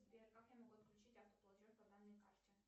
сбер как я могу отключить автоплатеж по данной карте